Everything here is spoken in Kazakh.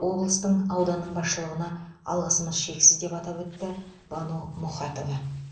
облыстың ауданның басшылығына алғысымыз шексіз деп атап өтті бану мұхатова